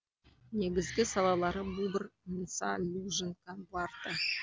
негізгі салалары бубр ныса лужицка варта